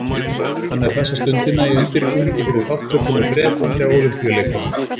Hann er þessa stundina í undirbúningi fyrir þátttöku með Bretlandi á Ólympíuleikunum.